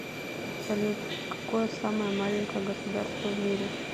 салют какое самое маленькое государство в мире